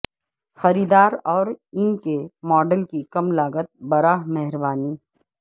خریدار اور ان کے ماڈل کی کم لاگت براہ مہربانی